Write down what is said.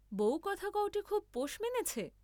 বউকথাকওটি খুব পোষ মেনেছে?